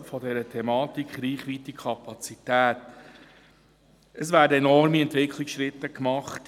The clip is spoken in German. Es werden im Moment in allen Bereichen enorme Entwicklungsschritte gemacht.